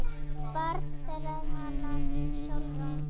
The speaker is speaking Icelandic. Barn þeirra er Hanna Sólrún.